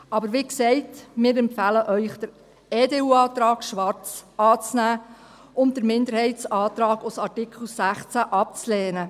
Aber wie gesagt: Wir empfehlen Ihnen den EDU-Antrag, Schwarz, anzunehmen und den Minderheitsantrag zu Artikel 16 abzulehnen.